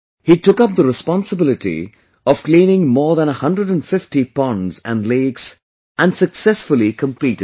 He took up the responsibility of cleaning more than 150 ponds and lakes and successfully completed it